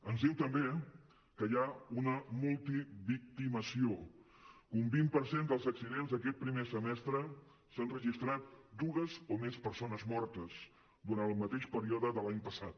ens diu també que hi ha una multivictimització que en un vint per cent dels accidents d’aquest primer semestre s’han registrat dues o més persones mortes durant el mateix període de l’any passat